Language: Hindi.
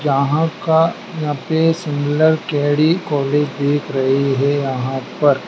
यहाँ का यहाँ पे सिमिलर के_डी कॉलेज दिख रहे हैं यहाँ पर--